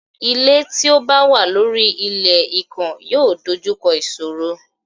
Ilé tí ó bá wà lórí ilé ikán yóò dojú kọ ìṣòro.